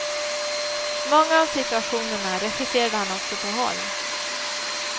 Många av situationerna regisserade han också på håll.